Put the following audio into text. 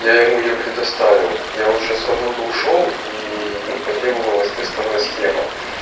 я ему её предоставил я уже с работы ушёл и ему потребовалась тестовая схема